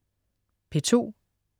P2: